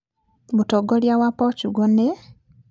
Mũtongoria wa Portugal nĩ?